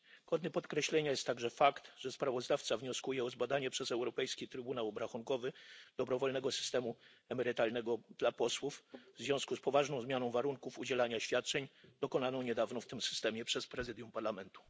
Godny podkreślenia jest także fakt, że sprawozdawca wnioskuje o zbadanie przez Europejski Trybunał Obrachunkowy dobrowolnego systemu emerytalnego dla posłów w związku z poważną zmianą warunków korzystania ze świadczeń dokonaną niedawno w tym systemie przez Prezydium Parlamentu.